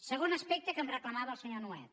segon aspecte que em reclamava el senyor nuet